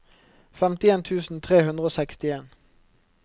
femtien tusen tre hundre og sekstien